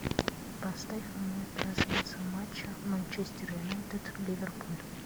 поставь мне трансляцию матча манчестер юнайтед ливерпуль